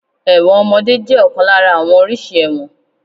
Ẹ̀wọ̀n ọmọdé jẹ́ ọ̀kan lára àwọn oríṣi ẹ̀wọ̀n.